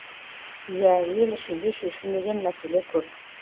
ия ел ішінде шешілмеген мәселе көп